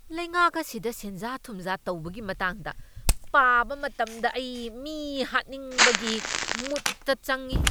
ꯂꯩꯉꯥꯛ ꯑꯁꯤꯗ ꯁꯦꯟꯖꯥ ꯊꯨꯝꯖꯥ ꯇꯧꯕꯒꯤ ꯃꯇꯥꯡꯗ ꯄꯥꯕ ꯃꯇꯝꯗ ꯑꯩ ꯃꯤ ꯍꯥꯠꯅꯤꯡꯕꯒꯤ ꯃꯨꯗꯇ ꯆꯪꯢ꯫